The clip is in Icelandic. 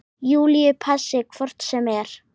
Júlíu passi hvort sem er.